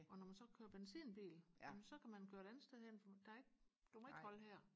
og når man så kører benzinbil jamen så kan man køre et andet sted hen for der er ikke du må ikke holde her